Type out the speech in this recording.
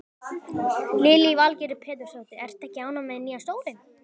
Lillý Valgerður Pétursdóttir: Ertu ekki ánægð með nýja stólinn?